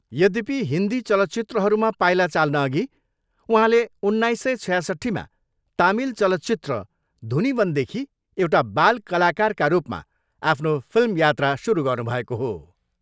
यद्यपि हिन्दी चलचित्रहरूमा पाइला चाल्नअघि उहाँले सोह्र सय छयासट्ठीमा तामिल चलचित्र धुनिवनदेखि एउटा बाल कलाकारका रूपमा आफ्नो फिल्म यात्रा सुरु गर्नुभएको हो।